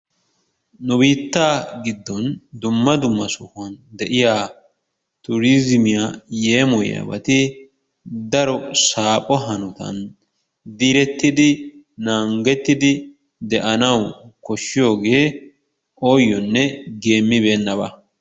Nu bittaa giddonni dumma dumma sohuwan de'iyaa turizimiyaa yemoyiyabatti daro sapho hanottanni direttiddi nangettidi de'anawu koshiyoge oyonne gemibennabaa.